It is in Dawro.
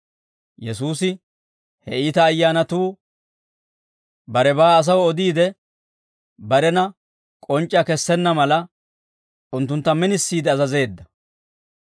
Yesuusi he iita ayyaanatuu barebaa asaw odiide, barena k'onc'c'iyaa kessenna mala, unttuntta minisiide azazeedda.